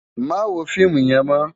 Má wó fiimú yèn mò